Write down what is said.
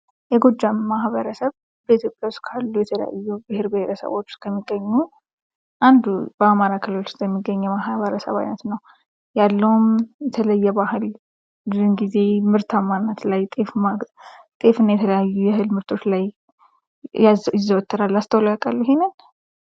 የጎጃም ማኅበረሰብ በኢትዮጵያ ውስጥ ካሉ የተለያዩ ብሔር ብሔረሰቦች ውስጥ ከሚገኙ አንዱ በአማራ ክልል ውስጥ የሚገኘው የማኅበረሰብ አይነት ነው ። ያለውም የተለየ ባህል ብዙን ጊዜ ምርታማነት ላይ ጤፍ እና የተለያየ የእህል ምርቶች ላይ ይዘወተራል ። አስተውለው ያውቃሉ ይሄንን?